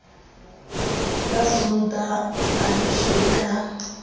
ka sontaha a leshwe ka